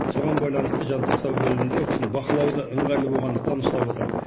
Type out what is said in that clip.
соған байланысты жансақтау бөлімінде ол кісіні бақылауда ыңғайлы болғандықтан ұстап отыр